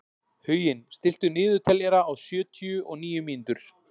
Huginn, stilltu niðurteljara á sjötíu og níu mínútur.